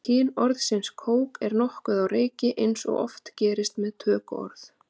kyn orðsins kók er nokkuð á reiki eins og oft gerist með tökuorð